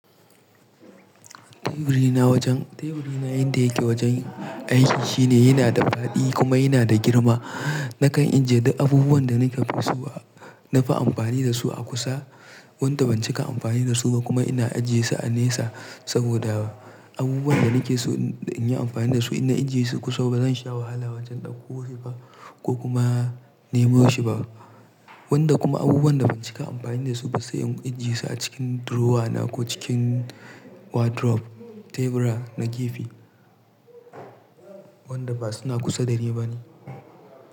Teburina wajen, teburina inda yake wajen aiki shine yana da faɗi kuma yana da girma. Nakan ajiye duk abubuwan da nake fi so a, na fi amfani da su a kusa, wanda ban cika amfani da su ba kuma ina ajiyesu a nesa saboda abubuwan da nake so inyi amfani da su inna ajiyesu kusa bazan sha wahala wajen ɗauko shi ba ko kuma nemo shi ba. Wanda kuma abubuwan da ban cika amfani da su ba sai in ajiyesu a cikin durowa na ko cikin wadrof, tebura na gefe, wanda ba suna kusa da ni ba ne.